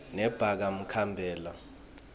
nebakamkhabela